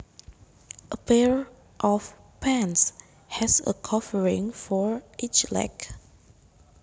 A pair of pants has a covering for each leg